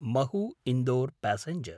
Mhow –Indore passenger